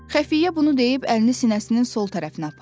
Xəfiyyə bunu deyib əlini sinəsinin sol tərəfinə apardı.